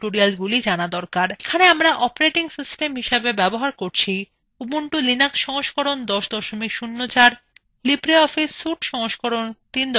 এখানে আমরা operating system হিসাবে ব্যবহার করছি